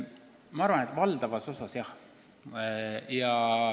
Ma arvan, et valdavas osas on vastus jah.